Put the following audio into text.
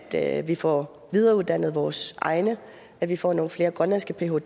at vi får videreuddannet vores egne at vi får nogle flere grønlandske phder